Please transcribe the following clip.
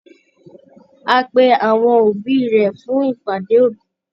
Á pe àwọn òbí rẹ̀ fún ìpàdé òbí